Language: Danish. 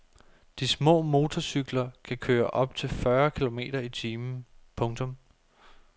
De små motorcykler kan køre op til fyrre kilometer i timen. punktum